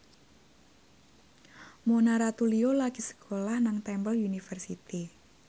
Mona Ratuliu lagi sekolah nang Temple University